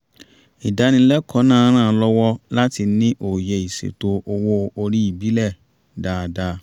ìdánilẹ́kọ̀ọ́ náà ràn án lọ́wọ́ láti ní òye ìṣètò owó orí ìbílẹ̀ dáadáa